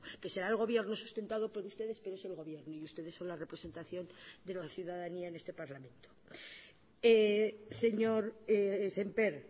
que será el gobierno sustentado por ustedes pero es el gobierno y ustedes son la representación de la ciudadanía en este parlamento señor sémper